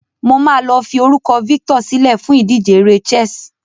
Mo máa lo fi orúkọ Victor silẹ́ fún ìdíje eré chess